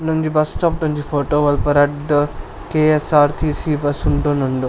ಉಂದೊಂಜಿ bus stop ದೊಂಜಿ photo ಅಲ್ಪ ರಡ್ಡ್ ಕೆ.ಎಸ್ಸ್.ಆರ್.ಟಿ.ಸಿ ಬಸ್ಸ್ ಉಂತೊಂದುಂಡು.